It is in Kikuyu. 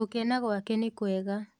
gũkena gũake nĩkũega.